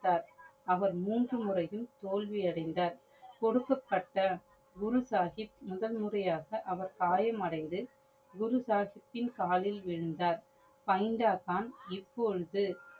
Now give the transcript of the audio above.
அவர் மூன்று முறையும் தோல்வி அடைந்தார். கொடுக்கப்பட்ட குரு சாஹிப் முதல் முறையாக அவர் காயமடைந்து குரு சாஹிபின் காலில் விழுந்தார். பைந்தன்க்கான் இபோழுது